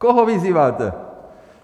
Koho vyzýváte?